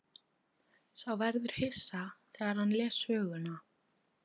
Sá verður hissa þegar hann les söguna.